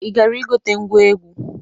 Ị gara igote ngwa egwu?